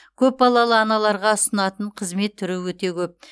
көпбалалы аналарға ұсынатын қызмет түрі өте көп